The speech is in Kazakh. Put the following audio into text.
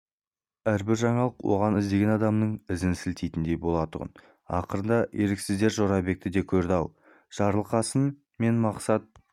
әрбір жаңалық оған іздеген адамының ізін сілтейтіндей болатұғын ақырында еріксіздер жорабекті де көрді-ау жарылқасын мен мақсат